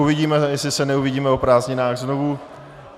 Uvidíme, jestli se neuvidíme o prázdninách znovu.